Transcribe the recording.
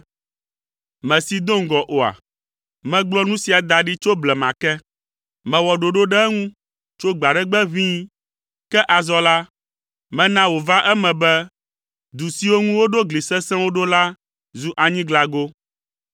“Mèsee do ŋgɔ oa? Megblɔ nu sia da ɖi tso blema ke. Mewɔ ɖoɖo ɖe eŋu tso gbe aɖe gbe ʋĩi; ke azɔ la, mena wòva eme be, du siwo ŋu woɖo gli sesẽwo ɖo la zu anyiglago.